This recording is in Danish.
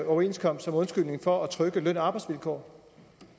overenskomst som undskyldning for at trykke løn og arbejdsvilkår